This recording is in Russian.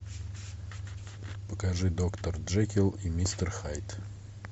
покажи доктор джекилл и мистер хайд